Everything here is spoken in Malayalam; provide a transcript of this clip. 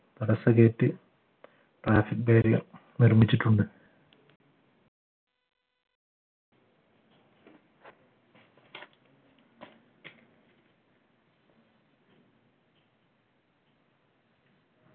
gate trafiic guide കൾ നിർമ്മിച്ചിട്ടുണ്ട്